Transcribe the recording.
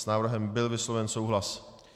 S návrhem byl vysloven souhlas.